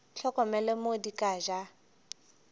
hlokomele mo di ka ja